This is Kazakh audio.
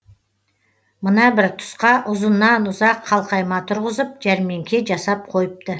мына бір тұсқа ұзыннан ұзақ қалқайма тұрғызып жәрмеңке жасап қойыпты